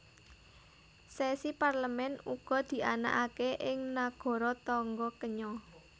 Sesi Parlemen uga dianakaké ing nagara tangga Kenya